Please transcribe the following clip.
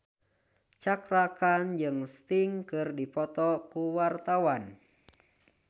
Cakra Khan jeung Sting keur dipoto ku wartawan